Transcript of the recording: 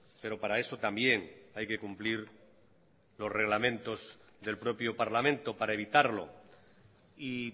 pero para eso también hay que cumplir los reglamentos del propio parlamento para evitarlo y